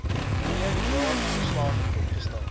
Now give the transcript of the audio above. een jaarverslag opgestel